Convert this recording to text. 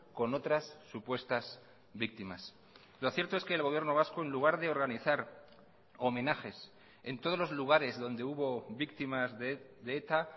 con otras supuestas víctimas lo cierto es que el gobierno vasco en lugar de organizar homenajes en todos los lugares donde hubo víctimas de eta